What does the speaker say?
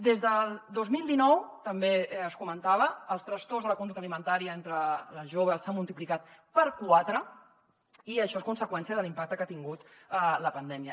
des del dos mil dinou també es comentava els trastorns de la conducta alimentària entre les joves s’han multiplicat per quatre i això és conseqüència de l’impacte que ha tingut la pandèmia